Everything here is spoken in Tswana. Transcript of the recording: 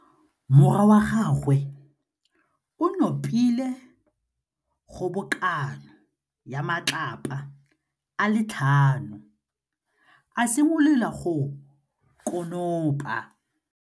Morwa wa gagwe o nopile kgobokanô ya matlapa a le tlhano, a simolola go konopa.